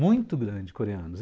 Muito grande, coreanos.